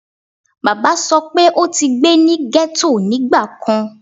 baba sọ pe o ti gbe ni ghetto nigbakan